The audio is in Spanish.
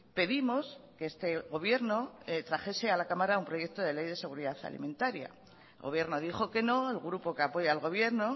pedimos que este gobierno trajese a la cámara un proyecto de ley de seguridad alimentaria el gobierno dijo que no el grupo que apoya al gobierno